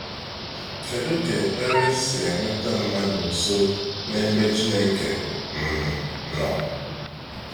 Kedụ ka ekpere sị eweta mmadụ nso n'ebe Chineke um nọ?